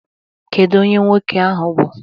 Kedu onye nwoke a bụ?